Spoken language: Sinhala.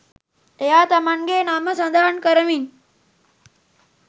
එයා තමන්ගේ නම සඳහන් කරමින්